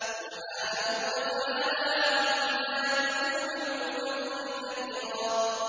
سُبْحَانَهُ وَتَعَالَىٰ عَمَّا يَقُولُونَ عُلُوًّا كَبِيرًا